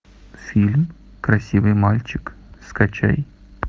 фильм красивый мальчик скачай